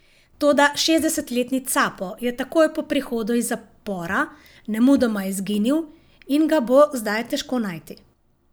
Toda šestdesetletni capo je takoj po prihodu iz zapora nemudoma izginil in ga bo zdaj težko najti.